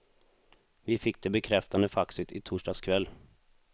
Vi fick det bekräftande faxet i torsdags kväll.